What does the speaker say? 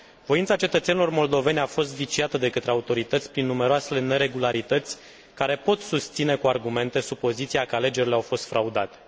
Voința cetățenilor moldoveni a fost viciată de către autorități prin numeroasele neregularități care pot susține cu argumente supoziția că alegerile au fost fraudate.